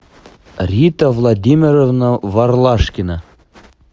рита владимировна ворлашкина